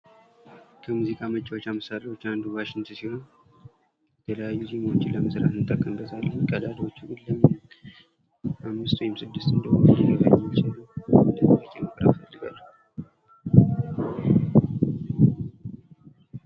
ከሙዚቃ መጫወቻ መሳሪያዎች አንዱ ዋሽንት ሲሆን፤ የተለያዩ ዜማዎችን ለመስራት እንጠቀምበታለን። ቀዳዳዎቹ ግን ለምን አምስት ወይም ስድስት እንደሆኑ አልገባኝም የሚያስረዳኝ እፈልጋለው?